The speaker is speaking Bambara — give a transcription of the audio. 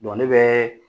ne bɛ